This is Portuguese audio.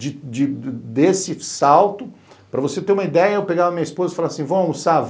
De de esse salto, para você ter uma ideia, eu pegava a minha esposa e falava assim, vamos almoçar?